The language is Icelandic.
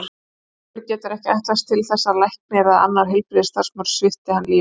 Sjúklingur getur ekki ætlast til þess að læknir eða annar heilbrigðisstarfsmaður svipti hann lífi.